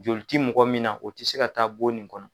Joli ti mɔgɔ min na o ti se ka taa bon nin kɔnɔ